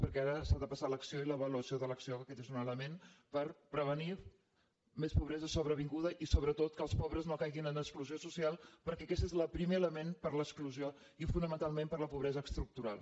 perquè ara s’ha de passar a l’acció i a l’avaluació de l’acció que aquest és un element per prevenir més pobresa sobrevinguda i sobretot que els pobres no caiguin en exclusió social perquè aquest és el primer element per a l’exclusió i fonamentalment per a la pobresa estructural